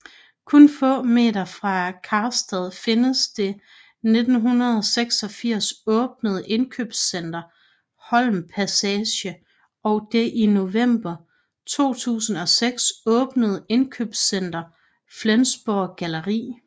Kun få meter fra Karstadt findes det 1986 åbnede indkøbscenter Holmpassage og det i november 2006 åbnede indkøbscenter Flensburg Galerie